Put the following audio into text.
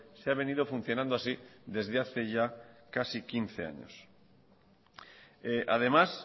se ha venido funcionando así desde hace ya casi quince años además